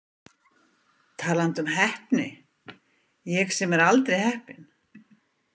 Talandi um heppni, ég sem er aldrei heppinn.